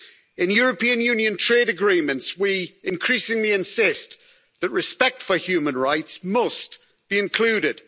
In European Union trade agreements, we increasingly insist that respect for human rights must be included.